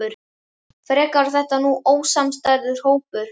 Frekar var þetta nú ósamstæður hópur.